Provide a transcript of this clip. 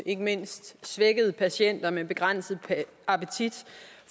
ikke mindst svækkede patienter med begrænset appetit